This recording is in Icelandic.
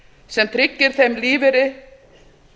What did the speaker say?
sem tryggir þeim lífeyri